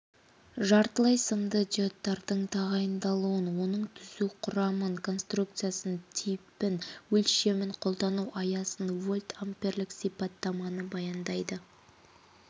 жартылай сымды диодтардың тағайындалуын оның түзу құрамын конструкциясын типін өлшемін қолдану аясын вольтамперлік сипаттаманы баяндайды